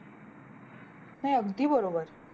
नाय अगदी बरोबर